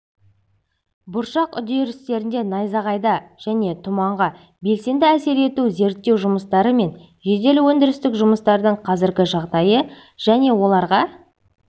бұршақ үдерістеріне найзағайға және тұманға белсенді әсер ету зерттеу жұмыстары мен жедел өндірістік жұмыстардың қазіргі жағдайы және оларға